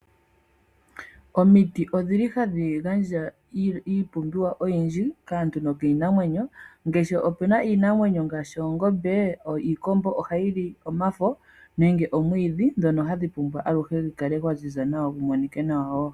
Omiti ohadhi gandja iipumbiwa oyindji kaantu nokiinamwenyo. Opu na iinamwenyo ngaashi oongombe, iikombo ohayi li omafo nenge omwiidhi ngoka hagu pumbwa gu kale aluhe gwa ziza gu monike nawa wo.